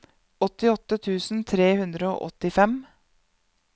åttiåtte tusen tre hundre og åttifem